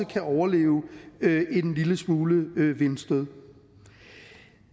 kan overleve en lille smule vindstød